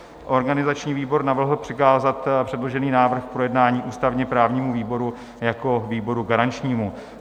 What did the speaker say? Organizační výbor navrhl přikázat předložený návrh k projednání ústavně-právnímu výboru jako výboru garančnímu.